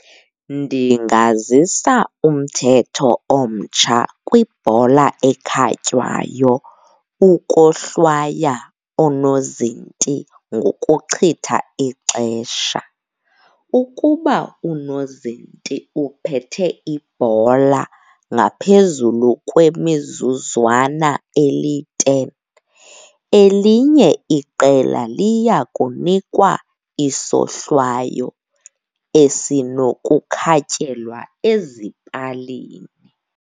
Ndingazisa umthetho omtsha kwibhola ekhatywayo ukohlwaya unoozinti ngokuchitha ixesha. Ukuba unozinti uphethe ibhola ngaphezulu kwemizuzwana eli-ten, elinye iqela liya kunikwa isohlwayo esinokukhatyelwa ezipalini.